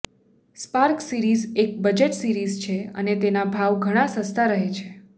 spark series એક budget series છે અને તેના ભાવ ઘણા સસ્તા રહે છે